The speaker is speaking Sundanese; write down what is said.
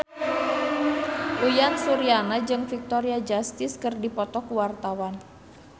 Uyan Suryana jeung Victoria Justice keur dipoto ku wartawan